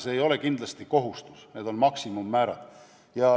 See ei ole kindlasti kohustus, need on maksimummäärad.